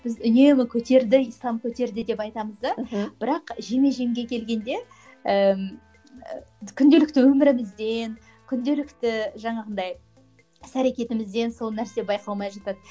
біз үнемі көтерді ислам көтерді деп айтамыз да мхм бірақ жеме жемге келгенде ііі күнделікті өмірімізден күнделікті жаңағындай іс әрекетімізден сол нәрсе байқалмай жатады